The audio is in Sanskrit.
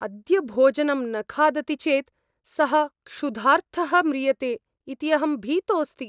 अद्य भोजनं न खादति चेत् सः क्षुधार्तः म्रियते इति अहं भीतोस्ति।